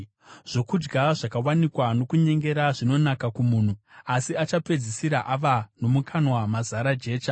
Zvokudya zvakawanikwa nokunyengera zvinonaka kumunhu, asi achapedzisira ava nomukanwa mazara jecha.